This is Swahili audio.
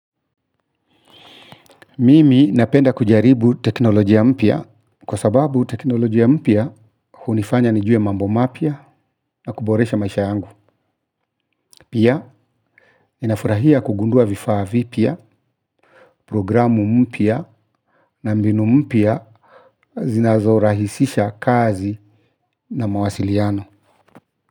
Mimi napenda kujaribu teknolojia mpya kwa sababu teknolojia mpya hunifanya nijue mambo mapya na kuboresha maisha yangu. Pia ninafurahia kugunduaa vifaa vipya programu mpya na mbinu mpya zinazorahisisha kazi na mawasiliano.